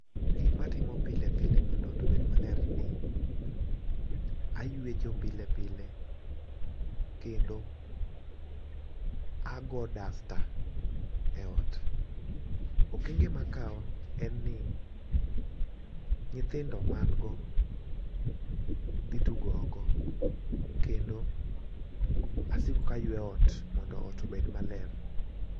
Gik matimo pile pile mondo ot obed maler ni aywecho pile pile, kendo ago dasta e ot. Okenge makawo en ni, nyithindo ma an go dhi tugo oko kendo asiko ka aywe ot mondo ot obed maler.